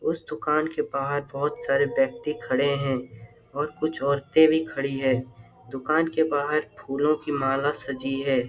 उस दुकान के बाहर बहुत सारे व्यक्ति खड़े हैं और कुछ औरतें भी खड़ी है। दुकान के बाहर फूलों की माला सजी है।